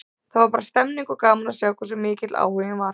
Það var bara stemmning, og gaman að sjá hversu mikill áhuginn var.